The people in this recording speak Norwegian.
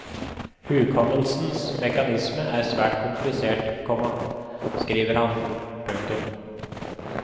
Hukommelsens mekanisme er svært komplisert, komma skriver han. punktum